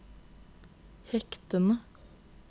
hektene